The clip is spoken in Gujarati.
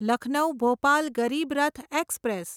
લખનૌ ભોપાલ ગરીબ રથ એક્સપ્રેસ